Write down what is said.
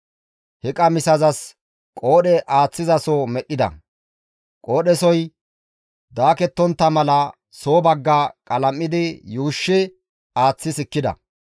He qamisazas qoodhe aaththizaso medhdhida; qoodhesoy daakettontta mala, soo bagga qalam7idi yuushshi aaththi sikkida.